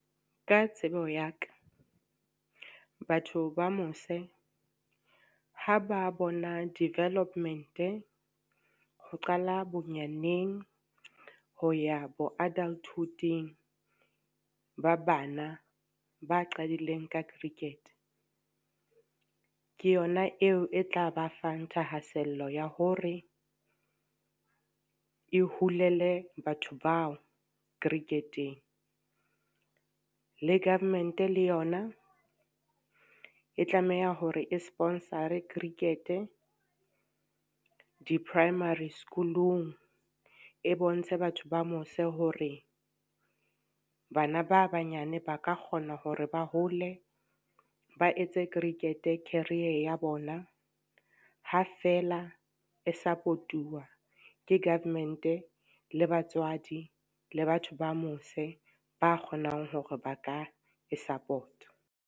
Ka tsebo ya ka, batho ba mose ha ba bona development, ho qala bonyaneng ho ya bo adulthood-ing ba bana ba qadileng ka cricket. Ke yona eo e tla ba fang thahasello ya hore e holele batho bao cricket-eng. Le government le yona e tlameha hore e sponsor-e cricket, di-primary school-ong e bontshe batho ba mose hore bana ba banyane ba ka kgona hore ba hole ba etse cricket career ya bona, ha feela e support-uwa ke government, le batswadi, le batho ba mose ba kgonang hore ba ka e support-a.